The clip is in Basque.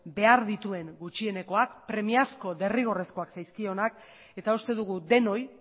behar dituen gutxienekoak premiazko edo derrigorrezkoak zaizkionak eta uste dugu denoi